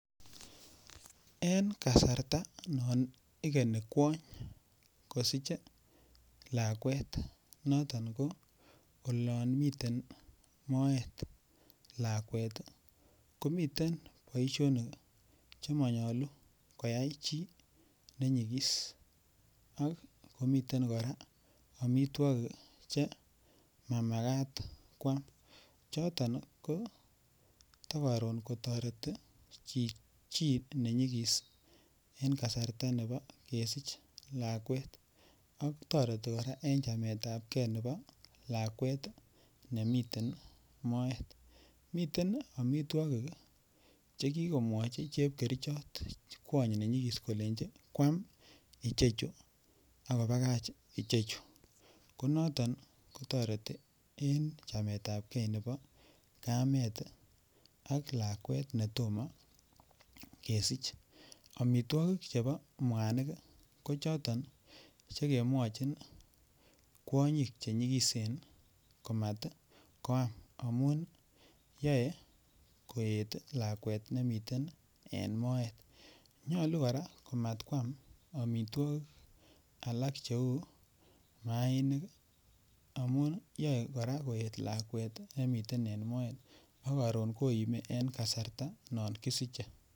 en kasarta non igeni kwoony kosich lakweet noton nebo olonmiten mooet lakweet iih, komiten boishonik chemonyolu koyaai chi nenyigiiss ak komiten koraa omitwogiik mamagaat kwaam, choton iih togoroon kotoreti chi nenyigiiis en kasarta nebo kesiich lakweet ak toreti koraa en chameet ab kee nebo lakweet nemiten moeet, miten omitwogik chegikomwochi chepkerichot kwoony nenyigiis kolenchi kwaam ichechu ak kobagaach ichechu, konoton kotoreti en chameet ab kee nebo kameet ak lakweet netomo kesich, omitwogik chebo mwanik iih ko choton chegemowochin kwonyiik chenyigiseen komat kwaam amuun yoen koeet lakweet nemitenen moet, nyolu koraa komat kwaam omitogik alak cheuu maainik iih amuun yoe kora koeet lakweet nemiten moet ak karoon koimi en kasarta non kisiche.